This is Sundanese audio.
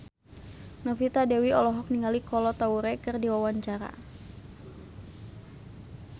Novita Dewi olohok ningali Kolo Taure keur diwawancara